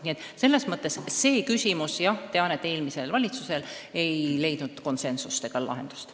Nii et selles küsimuses eelmisel valitsusel ei õnnestunud leida konsensust ega lahendust.